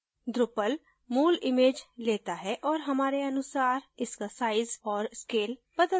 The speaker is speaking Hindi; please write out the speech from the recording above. drupal मूल image लेता है और हमारे अनुसार इसका size औऱ scale बदलता है